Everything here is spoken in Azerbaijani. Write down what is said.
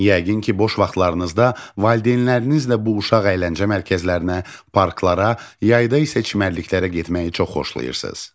Yəqin ki, boş vaxtlarınızda valideynlərinizlə bu uşaq əyləncə mərkəzlərinə, parklara, yayda isə çimərliklərə getməyi çox xoşlayırsınız.